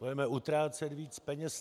Budeme utrácet víc peněz.